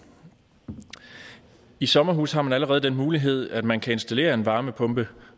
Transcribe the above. i sommerhuse har man allerede den mulighed at man kan installere en varmepumpe